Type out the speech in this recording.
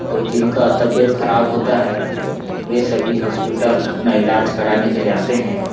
तो जिनका तबीयत खराब होता है वे सभी हॉस्पिटल अपना इलाज कराने के लिए आते हैं।